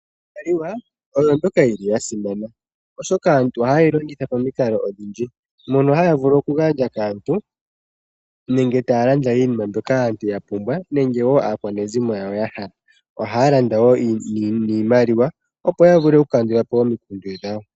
Iimaliwa oyo mbyoka yili yasimana , oshoka aantu ohaye yi longitha pamikalo odhindji. Mono haya okugandja kaantu nenge taya landa iinima mbyoka aantu yapumbwa nenge aakwanezimo yawo. Ohaya landa niimaliwa opo yakandulepo omikundu dhawo.